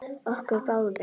Okkur báðum.